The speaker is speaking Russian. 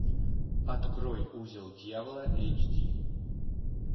открой узел дьявола эйч ди